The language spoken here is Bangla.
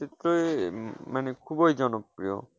চিত্রই মানে খুবই জনপ্রিয়।